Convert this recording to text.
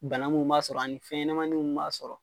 Bana min b'a sɔrɔ ani fɛnɲɛnamaninw b'a sɔrɔ.